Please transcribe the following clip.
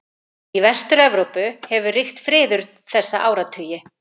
Í Vestur-Evrópu hefur ríkt friður þessa áratugi.